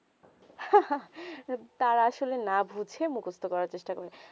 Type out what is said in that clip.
তাও আসলে না বুঝে মুখস্ত করা চেষ্টা করে